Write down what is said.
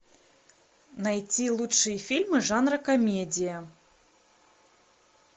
найти лучшие фильмы жанра комедия